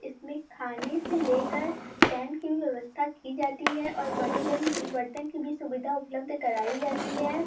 इसमें खाने से लेकर टेंट की भी व्यवस्था की जाती है और बर्तन बर्तन की भी सुविधा उपलब्ध कराई जाती है।